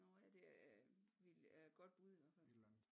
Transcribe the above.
Nåh ja det øh godt bud i hvert fald